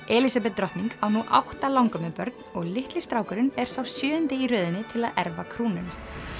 Elísabet drottning á nú átta og litli strákurinn er sá sjöundi í röðinni til að erfa krúnuna